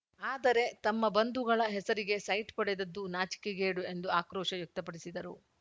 ಆದರೆ ತಮ್ಮ ಬಂಧುಗಳ ಹೆಸರಿಗೆ ಸೈಟ್‌ ಪಡೆದಿದ್ದು ನಾಚಿಕೆಗೇಡು ಎಂದು ಆಕ್ರೋಶ ವ್ಯಕ್ತಪಡಿಸಿದರು